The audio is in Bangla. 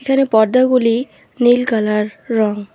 এখানে পর্দাগুলি নীল কালার রঙ।